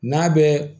N'a bɛ